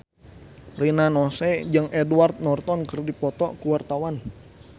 Rina Nose jeung Edward Norton keur dipoto ku wartawan